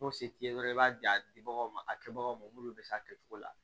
N'o se t'i ye dɔrɔn i b'a di a dibagaw ma a kɛbagaw ma minnu bɛ se a kɛcogo la